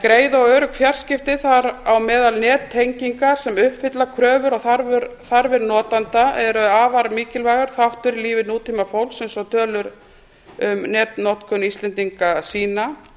greið og örugg fjarskipti þar á meðal nettengingar sem uppfylla kröfur og þarfir notenda eru afar mikilvægur þáttur í lífi nútímafólks eins og tölur um netnotkun íslendinga sýna